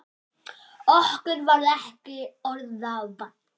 Okkur varð ekki orða vant.